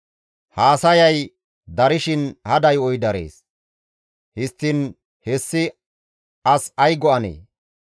Haasayay darshin hada yo7oy darees; histtiin hessi as ay go7anee?